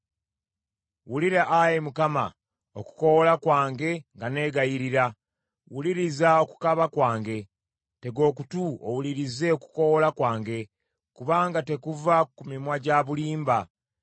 Wulira, Ayi Mukama , okukoowoola kwange nga nneegayirira, wuliriza okukaaba kwange. Tega okutu owulirize okukoowoola kwange, kubanga tekuva ku mimwa gya bulimba.